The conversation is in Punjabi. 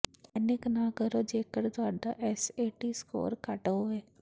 ਡੈਨਿਕ ਨਾ ਕਰੋ ਜੇਕਰ ਤੁਹਾਡਾ ਐਸਏਟੀ ਸਕੋਰ ਘੱਟ ਹੋਵੇ